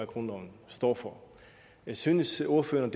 grundloven står for synes ordføreren